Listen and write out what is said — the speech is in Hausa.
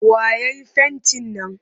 Wa ya yi fentin nan?